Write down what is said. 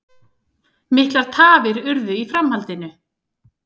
Miklar tafir urðu í framhaldinu